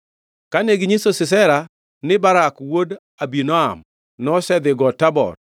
Kane ginyiso Sisera ni Barak wuod Abinoam nosedhi Got Tabor,